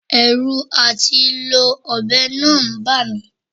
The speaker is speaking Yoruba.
Ẹ̀rù àti lo ọ̀bẹ náà ń bà mi